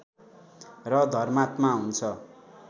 र धर्मात्मा हुन्छ